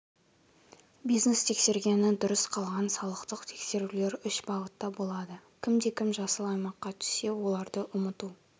бизнес тексергені дұрыс қалған салықтық тексерулер үш бағытта болады кімде-кім жасыл аймаққа түссе оларды ұмыту